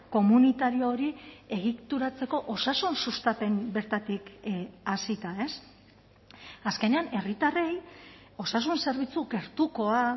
komunitario hori egituratzeko osasun sustapen bertatik hasita azkenean herritarrei osasun zerbitzu gertukoa